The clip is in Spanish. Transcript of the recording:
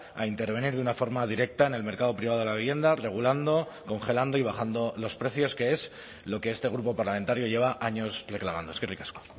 a intervenir de una forma directa en el mercado privado de la vivienda regulando congelando y bajando los precios que es lo que este grupo parlamentario lleva años reclamando eskerrik asko